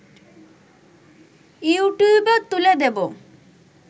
‘ইউটিউবে’ তুলে দেব